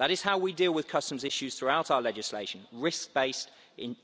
That is how we deal with customs issues throughout our legislation risk based,